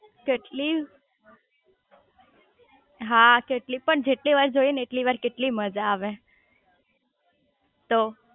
કેટલી હા કેટલી પણ જેટલી વાર જોઈએ ને એટલી વાર કેટલી મજા આવે